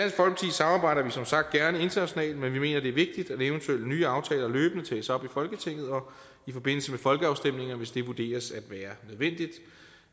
samarbejder vi som sagt gerne internationalt men vi mener det er vigtigt at eventuelle nye aftaler løbende tages op i folketinget og i forbindelse med folkeafstemninger hvis det vurderes at være nødvendigt